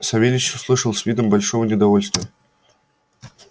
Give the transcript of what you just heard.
савельич услышал с видом большого неудовольствия